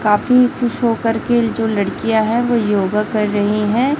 काफी खुश होकर के जो लड़कियां है वो योगा कर रही हैं।